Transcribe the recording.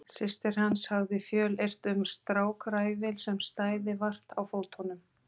Systir hans hafði fjölyrt um strákræfil sem stæði vart á fótunum.